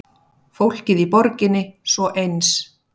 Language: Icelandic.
Fólkið í borginni svo eins.